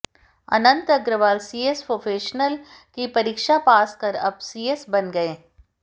अनंत Agrawal CS professional की परीक्षा pass कर अब सीएस बन गए